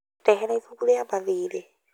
Ndehera ibuku rĩa mathiirĩ